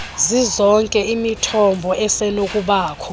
zizonke imithombo esenokubakho